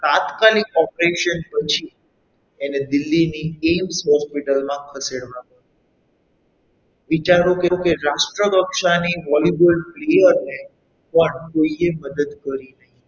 તાત્કાલિક operation પછી એને દિલ્હીની એમ્સ Hospital માં ખસેડવામાં આવી વિચારો કે તે રાષ્ટ્ર કક્ષાની volleyball player ને પણ કોઈએ મદદ કરી નહીં.